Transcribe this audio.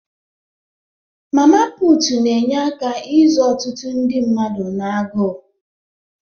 Mama puutu na-enye aka izọ ọtụtụ ndị mmadụ na-agụụ.